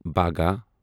باگا